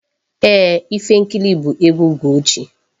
Ee, Ifenkili bụ egwu Ugochi.